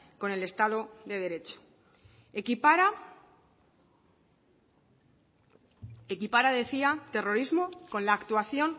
con el estado de derecho equipara terrorismo con la actuación